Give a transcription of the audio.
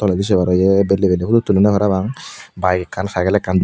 toledi sei paro iye belbelley phutu tullon parapang byke ekkan cykel ekkan.